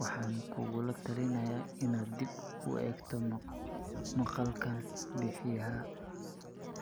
Waxaan kugula talineynaa inaad dib u eegto maqaalkan bixiyaha